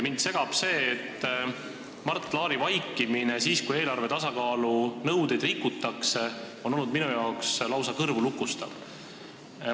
Mind segab Mart Laari vaikimine siis, kui eelarve tasakaalu nõudeid rikutakse – see on minu jaoks lausa kõrvulukustav olnud.